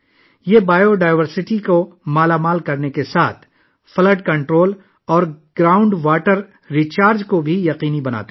حیاتیاتی تنوع کی افزودگی کے ساتھ، وہ سیلاب پر قابو پانے اور زمینی پانی کے ریچارج کو بھی یقینی بناتے ہیں